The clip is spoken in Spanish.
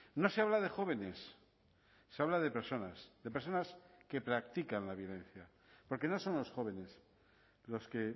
no se habla de jóvenes se habla de personas de personas que practican la violencia porque no son los jóvenes los que